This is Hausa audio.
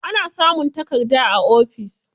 Ana samun takarda a ofis.